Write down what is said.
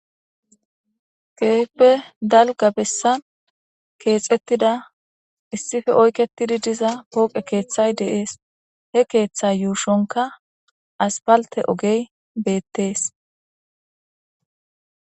Kehippe dalgga bessan kexetida issipe oyketidi diza pohoqe keththay de'es he keththa yushshonka aspalte oggey bettess.